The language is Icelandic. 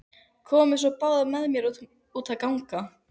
Komiði svo báðar með mér út að ganga.